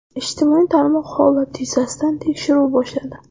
Ijtimoiy tarmoq holat yuzasidan tekshiruv boshladi.